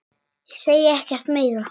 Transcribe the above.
Ég segi ekkert meira.